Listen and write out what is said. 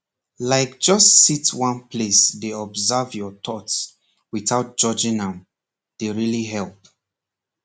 like just sit one place dey observe your thoughts without judging am dey really help